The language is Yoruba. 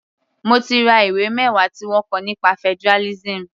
Mo ti ra ìwé mẹwa tí wọ́n kọ nípa federalism.